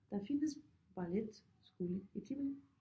Der findes balletskole i Tivoli